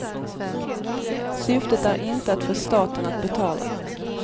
Syftet är inte att få staten att betala.